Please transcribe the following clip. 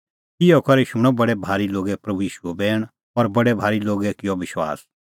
इहअ करै शूणअ बडै भारी लोगै प्रभू ईशूओ बैण और बडै भारी लोगै किअ विश्वास